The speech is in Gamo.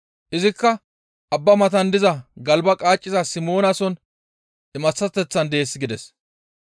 Izikka abba matan diza galba qaaciza Simoonason imaththateth dees» gides.